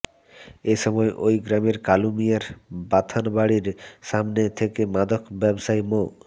এসময় ওই গ্রামের কালু মিয়ার বাথানবাড়ীর সামনে থেকে মাদক ব্যবসায়ী মো